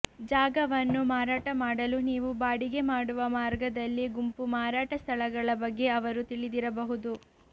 ಜಾಗವನ್ನು ಮಾರಾಟ ಮಾಡಲು ನೀವು ಬಾಡಿಗೆ ಮಾಡುವ ಮಾರ್ಗದಲ್ಲಿ ಗುಂಪು ಮಾರಾಟ ಸ್ಥಳಗಳ ಬಗ್ಗೆ ಅವರು ತಿಳಿದಿರಬಹುದು